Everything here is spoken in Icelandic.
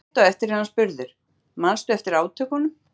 Rétt á eftir er hann spurður: Manstu eftir átökunum?